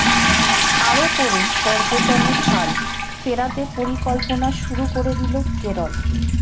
আরও পড়ুন পর্যটনের হাল ফেরাতে পরিকল্পনা শুরু করে দিল কেরল